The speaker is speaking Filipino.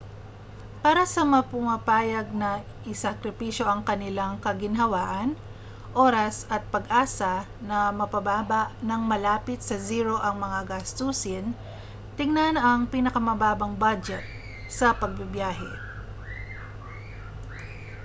para sa mga pumapayag na isakripisyo ang kanilang kaginhawaan oras at pag-asa na mapababa nang malapit sa zero ang mga gastusin tingnan ang pinakamababang budget sa pagbibiyahe